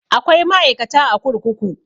Akwai ma'aikata a kurkuku